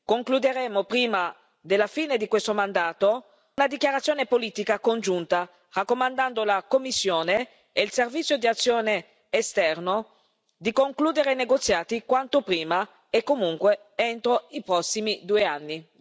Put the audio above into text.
Concluderemo prima della fine di questo mandato una dichiarazione politica congiunta raccomandando alla Commissione e al Servizio europeo per l'azione esterna di concludere i negoziati quanto prima e comunque entro i prossimi due anni.